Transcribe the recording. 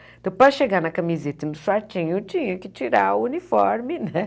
Então, para chegar na camiseta e no chatinho, tinha que tirar o uniforme, né?